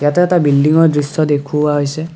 ইয়াতে এটা বিল্ডিংৰ দৃশ্য দেখুওৱা হৈছে।